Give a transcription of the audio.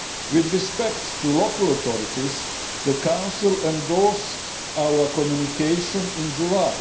With respect to local authorities, the Council endorsed our Communication in July.